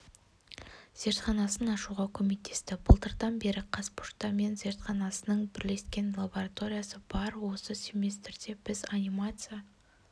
зертханасын ашуға көмектесті былтырдан бері қазпошта мен зертханасының бірлескен лабораториясы бар осы семестрде біз анимация